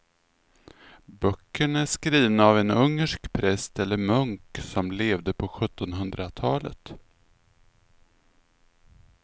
Böckerna är skrivna av en ungersk präst eller munk som levde på sjuttonhundratalet.